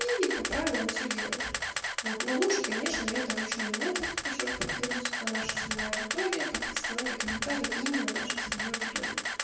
и по правилам все делаешь вот но лучше конечно это ручной метод ещё раз повторюсь это наша целевая аудитория подписки лайки комментарии именно нашей целевой аудитории